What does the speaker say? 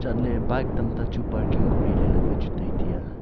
chat ley bike tamta chu parking kori ley wai chu taiti ya.